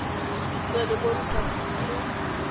tswe e le mo repaboliking